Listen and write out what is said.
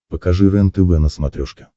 покажи рентв на смотрешке